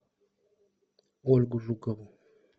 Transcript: ольгу жукову